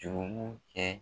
Jurumu kɛ